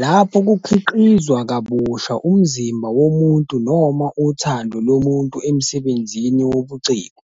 lapho kukhiqizwa kabusha umzimba womuntu noma uthando lomuntu emsebenzini wobuciko,